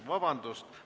Vabandust!